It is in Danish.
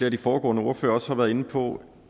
af de foregående ordførere også har været inde på